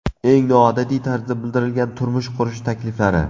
Eng noodatiy tarzda bildirilgan turmush qurish takliflari .